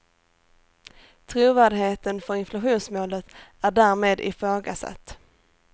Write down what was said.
Trovärdigheten för inflationsmålet är därmed ifrågasatt.